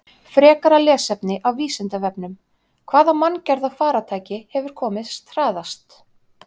Frekara lesefni af Vísindavefnum: Hvaða manngerða farartæki hefur komist hraðast?